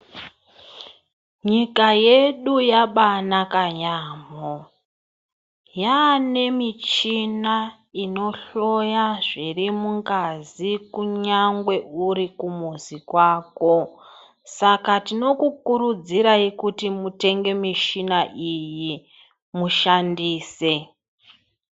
Nyika yedu yabanaka yamho, yanemichina inohloya zviri mungazi kunyangwe uri kumuzi kwako, saka tinokukurudzirayi kuti mutenge mishina iyi mushandise.